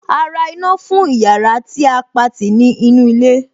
A ra iná fún ìyára tí a Pati ní inú ilé.